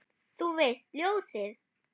Þú veist, ljósið